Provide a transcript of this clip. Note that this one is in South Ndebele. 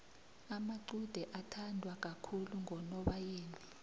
amacude athandwa kakhulu ngonobayeni